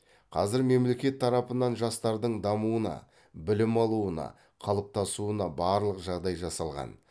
қазір мемлекет тарапынан жастардың дамуына білім алуына қалыптасуына барлық жағдай жасалған